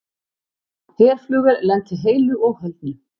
Herflugvél lenti heilu og höldnu